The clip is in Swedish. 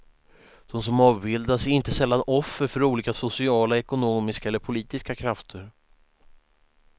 De som avbildas är inte sällan offer för olika sociala, ekonomiska eller politiska krafter.